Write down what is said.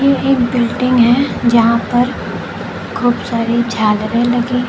ये एक बिल्डिंग है यहां पर खूब सारी झालरें लगी हैं।